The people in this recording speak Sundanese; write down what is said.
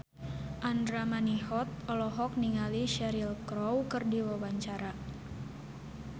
Andra Manihot olohok ningali Cheryl Crow keur diwawancara